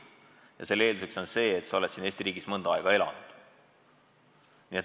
Ja selle eelduseks on see, et sa oled siin Eesti riigis mõnda aega elanud.